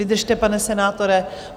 Vydržte, pane senátore.